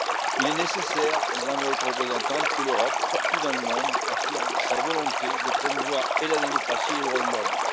Il est nécessaire, Madame la Haute Représentante, que l'Europe, partout dans le monde, affirme sa volonté de promouvoir tant la démocratie que les droits de l'homme.